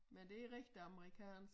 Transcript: Men det rigtig amerikansk